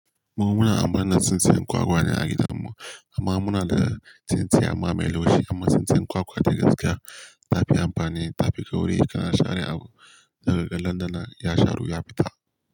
Mu muna a birnin sun tsintsiyar kwakwa ne a gidanmu amma muna da tsintsiyar amma mai laushi amma tsintsiya kwakwa dai gaskiya ta fi amfani, ta fi kauri. Kana share abu zakaga dan danan ya sharu, ya fita.